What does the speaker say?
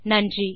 நன்றி